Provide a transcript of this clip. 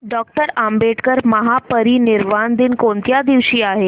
doctor Ambedkar महापरिनिर्वाण दिन कोणत्या दिवशी आहे